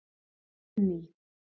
Benný